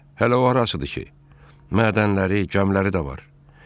Hələ o arasıdır ki, mədənləri, gəmiləri də var.